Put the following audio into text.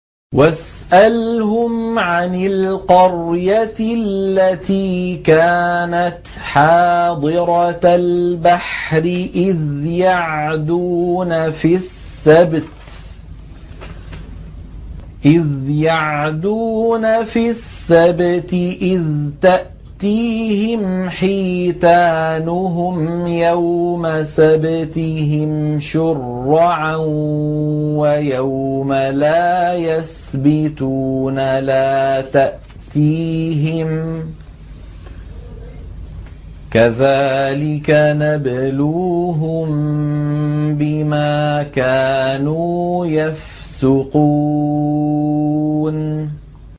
وَاسْأَلْهُمْ عَنِ الْقَرْيَةِ الَّتِي كَانَتْ حَاضِرَةَ الْبَحْرِ إِذْ يَعْدُونَ فِي السَّبْتِ إِذْ تَأْتِيهِمْ حِيتَانُهُمْ يَوْمَ سَبْتِهِمْ شُرَّعًا وَيَوْمَ لَا يَسْبِتُونَ ۙ لَا تَأْتِيهِمْ ۚ كَذَٰلِكَ نَبْلُوهُم بِمَا كَانُوا يَفْسُقُونَ